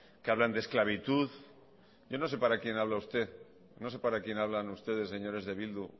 que hablan de esclavitud yo no sé para quién habla usted no sé para quién hablan ustedes señores de bildu